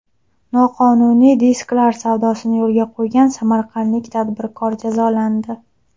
Noqonuniy disklar savdosini yo‘lga qo‘ygan samarqandlik tadbirkor jazolandi.